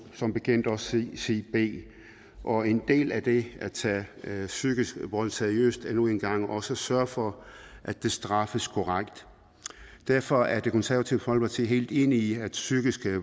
som bekendt også sige b og en del af det at tage psykisk vold seriøst er nu engang også at sørge for at det straffes korrekt derfor er det konservative folkeparti helt enig i at psykisk